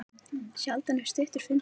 Sjaldan er stuttur fundur langur.